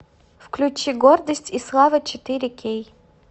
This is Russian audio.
включи гордость и слава четыре кей